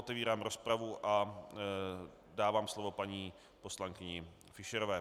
Otevírám rozpravu a dávám slovo paní poslankyni Fischerové.